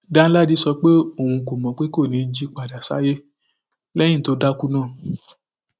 danladi sọ pé òun kò mọ pé kò ní í jí padà sáyé lẹyìn tó dákú náà